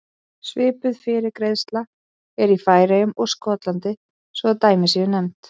Svipuð fyrirgreiðsla er í Færeyjum og Skotlandi svo að dæmi séu nefnd.